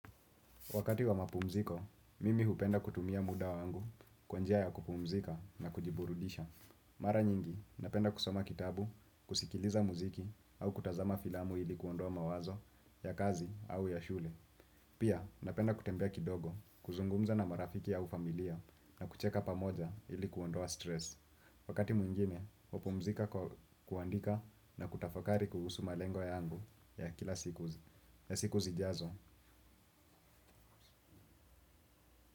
Wakati wa mapumziko, mimi hupenda kutumia muda wangu kwa njia ya kupumzika na kujiburudisha. Mara nyingi, napenda kusoma kitabu, kusikiliza muziki au kutazama filamu ili kuondoa mawazo ya kazi au ya shule. Pia, napenda kutembea kidogo, kuzungumza na marafiki au familia na kucheka pamoja ili kuondoa stress. Wakati mwingine, hupumzika kwa kuandika na kutafakari kuhusu malengo yangu ya kila siku zijazo.